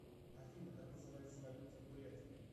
афина как называется валюта в бурятии